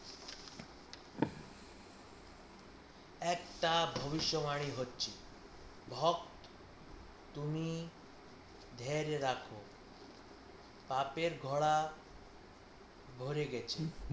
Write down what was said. একটা ভবিষ্যৎবাণী হচ্ছে, ভক্ত তুমি ধৈর্য রাখো পাপের ঘোড়া ভরে গেছে